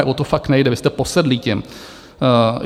Ne, o to fakt nejde - vy jste posedlí tím.